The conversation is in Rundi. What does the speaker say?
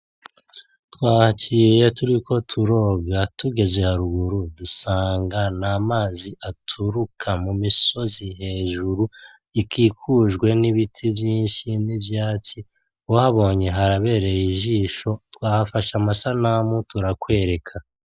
Twahaciye turiko turoga tugeze haruguru, dusanga n'amazi aturuka mu musozi hejuru, ikikujwe n'ibiti vyinshi n'ivyatsi. Uhabonye harabereye ijsho. Twahafashe amasanamu turakwereka.